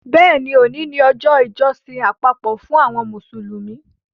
Bẹ́ẹ̀ni, òní ni ọjọ́ ìjọsìn àpapọ̀ fún àwọn Mùsùlùmí